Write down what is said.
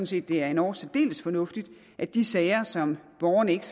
set det er endog særdeles fornuftigt at de sager som borgerne ikke